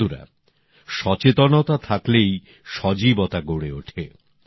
বন্ধুরা সচেতন হলেই সজীবতা গড়ে ওঠে